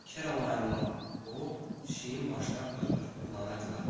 Keralayın o, pişiyin başına fır-fır fırlanırdılar.